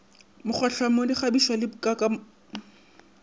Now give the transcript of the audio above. mokgwatlhamo dikgabišo le kakanyopopo ya